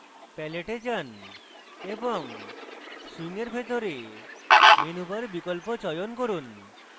palette এ যান এবং swing bar ভিতরে menu bar বিকল্প চয়ন করুন